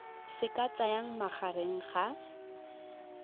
se ka tsayang magareng ga